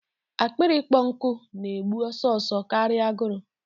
Akpịrị ikpọ nkụ na-egbu ọsọ ọsọ karịa agụrụ.